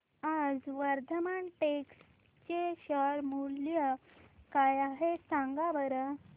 आज वर्धमान टेक्स्ट चे शेअर मूल्य काय आहे सांगा बरं